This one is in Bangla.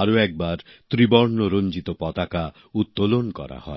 আরেকবার ত্রিবর্ণ রঞ্জিত পতাকা উত্তোলন করা হয়